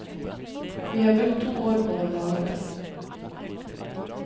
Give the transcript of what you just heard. Vi har brukt to år på å lage det.